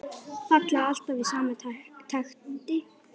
Falla alltaf í sama takti.